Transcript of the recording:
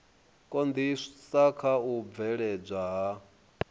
konḓisa kha u bveledzwa ha